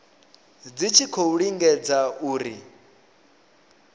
dzi tshi khou lingedza uri